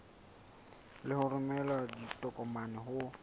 le ho romela ditokomane ho